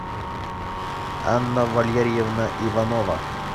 анна валерьевна иванова